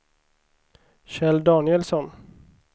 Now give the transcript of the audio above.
Kjell Danielsson